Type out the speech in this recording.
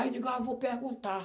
Aí eu digo, ah, vou perguntar.